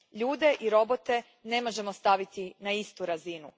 Ljude i robote ne možemo staviti na istu razinu.